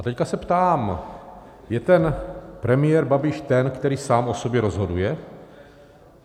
A teď se ptám, je ten premiér Babiš ten, který sám o sobě rozhoduje?